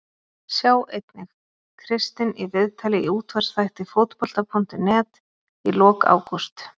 Sjá einnig: Kristinn í viðtali í útvarpsþætti Fótbolta.net í lok ágúst